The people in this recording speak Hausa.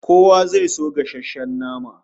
Kowa zai so gasasshen nama